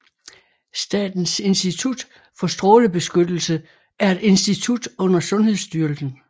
Statens Institut for Strålebeskyttelse er et institut under Sundhedsstyrelsen